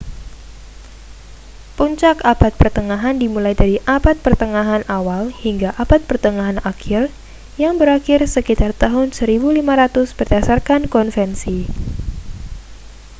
puncak abad pertengahan dimulai dari abad pertengahan awal hingga abad pertengahan akhir yang berakhir sekitar tahun 1500 berdasarkan konvensi